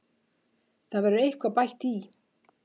Það verður eitthvað bætt í.